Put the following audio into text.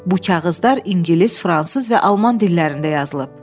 "Bu kağızlar ingilis, fransız və alman dillərində yazılıb."